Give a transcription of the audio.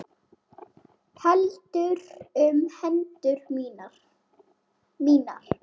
Heldur um hendur mínar.